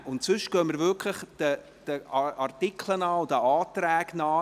Ansonsten gehen wir wirklich den Artikeln und Anträgen nach vor.